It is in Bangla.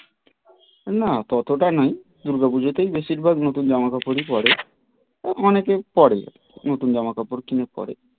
না ততটা নেই দুর্গা পুজোতেই বেশির ভাগ জামা কাপড়ই পরে অনেকেই পরে নতুন জামা কাপড় কিনে পড়ে.